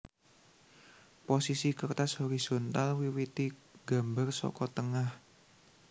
Posisi kertas horisontal wiwiti nggambar saka tengah